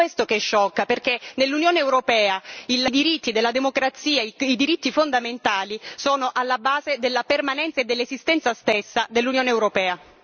È questo che sciocca, perché nell'Unione europea i diritti della democrazia, i diritti fondamentali sono alla base della permanenza e dell'esistenza stessa dell'Unione europea.